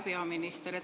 Hea peaminister!